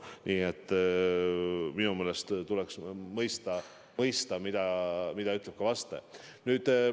Nii et minu meelest tuleks mõista ka seda, mida vastaja.